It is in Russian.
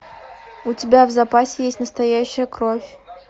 у тебя в запасе есть настоящая кровь